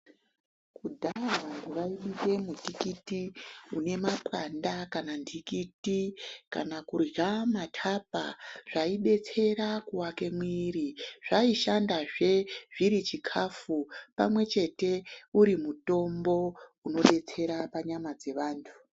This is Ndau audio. Kudhaya vantu vaibike mutikiti une mapwanda kana nhikiti kana kurya matapa. Zvaibetsera kuvake muviri zvaishandazve zviri chikafu pamwe chete uri mutombo unobetsera panyama dzevantu.